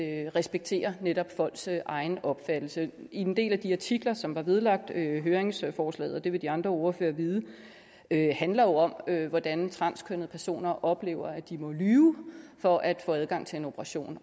at respektere netop folks egen opfattelse en del af de artikler som var vedlagt høringsforslaget det vil de andre ordførere vide handler jo om hvordan transkønnede personer oplever at de må lyve for at få adgang til en operation